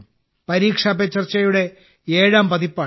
പരീക്ഷ പേ ചർച്ചയുടെ ഏഴാം പതിപ്പാണിത്